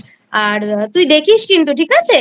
আর তুই দেখিস কিন্তু ঠিক আছে?